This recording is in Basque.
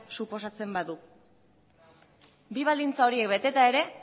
suposatzen badu bi baldintza horiek beteta ere